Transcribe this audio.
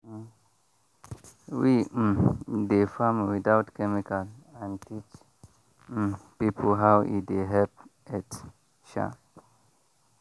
we um dey farm without chemical and teach um people how e dey help earth. um